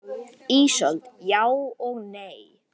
Ísold: Já og nei.